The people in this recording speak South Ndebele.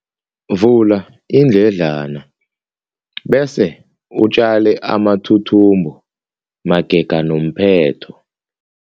Vula iindledlana bese utjale amathuthumbo magega nomphetho.